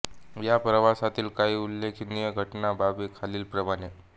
ह्या प्रवासातील काही उल्लेखनीय घटना बाबी खालील प्रमाणे